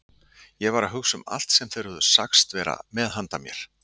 Ég var að hugsa um allt sem þeir höfðu sagst vera með handa mér.